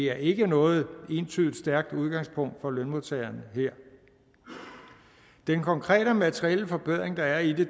er ikke noget entydigt stærkt udgangspunkt for lønmodtageren her den konkrete materielle forbedring der er i det